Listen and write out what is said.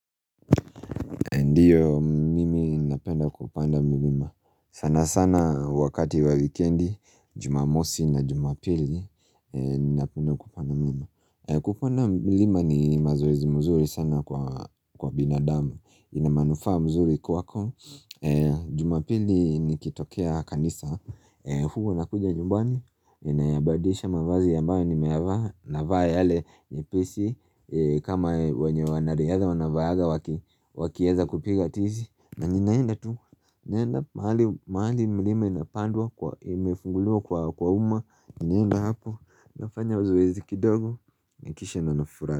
Ndio. Mimi napenda mlima, sana sana wakati wa wikendi, jumamosi na jumapili, ninapenda kupanda mlima. Kupana mlima ni mazoezi mzuri sana kwa binadamu, ina manufaa mzuri kwako, jumapili nikitokea kanisa, huwa nakuja nyumbani, ninayabadisha mavazi ambayo nimeyavaa, navaa yale nyepesi, kama yenye wanariadha wanavaanga wakieza kupiga tizi. Na ninaenda tu. Nenda mahali mlima imepandwa, imefungulua kwa umma. Ninaenda hapo, nafanya zoezi kidogo kisha nafurahi.